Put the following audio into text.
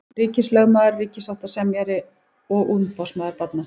Ríkislögmaður, ríkissáttasemjari og umboðsmaður barna.